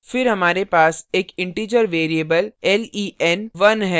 फिर हमारे पास एक integer variable len1 है